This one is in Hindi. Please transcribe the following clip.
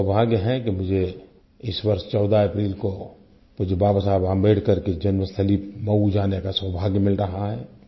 मेरा सौभाग्य है कि मुझे इस वर्ष 14 अप्रैल को मुझे बाबा साहिब अम्बेडकर की जन्मस्थली मऊ जाने का सौभाग्य मिल रहा है